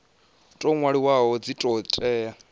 tou nwaliwaho dzi do tea